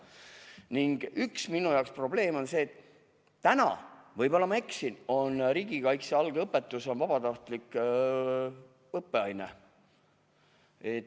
Ning minu jaoks üks probleem on see, et – võib-olla ma eksin – riigikaitse algõpetus on vabatahtlik õppeaine.